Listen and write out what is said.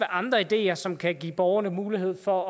andre ideer som kan give borgerne mulighed for